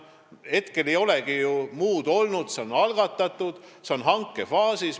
Hetkel ei olegi ju muud kui see algatus, mis on hankefaasis.